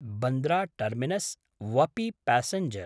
बन्द्रा टर्मिनस्–वपि पैसेंजर्